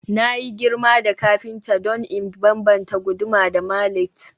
Na girma da kafinta don in bambanta guduma da mallet